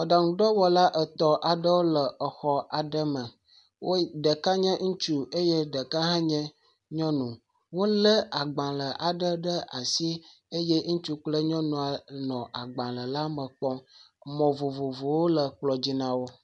Mɔɖaŋuɖɔwɔla etɔ aɖewo le xɔ aɖe me. Ɖeɛka nye ŋutsu eye ɖeka hã nye nyɔnu. Wole agbalẽ aɖe le asi. Eye ŋutsu kple nyɔnua nɔ agbalẽ la me kpɔm. Mɔ vovovowo le kplɔ dzi na wo.